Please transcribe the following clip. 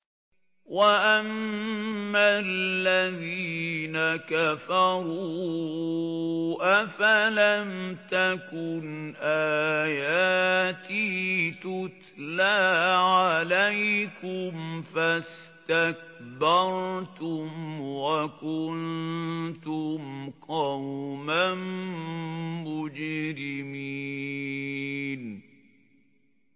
وَأَمَّا الَّذِينَ كَفَرُوا أَفَلَمْ تَكُنْ آيَاتِي تُتْلَىٰ عَلَيْكُمْ فَاسْتَكْبَرْتُمْ وَكُنتُمْ قَوْمًا مُّجْرِمِينَ